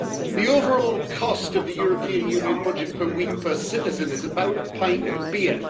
The overall cost of the European Union budget per week per citizen is about a pint of beer.